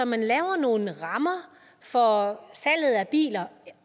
man laver nogle rammer for salget af biler